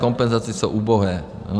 Kompenzace jsou ubohé.